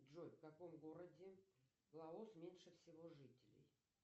джой в каком городе лаос меньше всего жителей